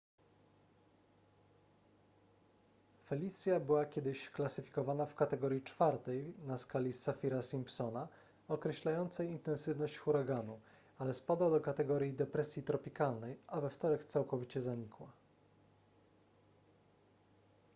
felicia była kiedyś klasyfikowana w kategorii 4 na skali saffira-simpsona określającej intensywność huraganu ale spadła do kategorii depresji tropikalnej a we wtorek całkowicie zanikła